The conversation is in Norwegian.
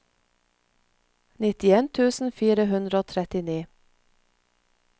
nittien tusen fire hundre og trettini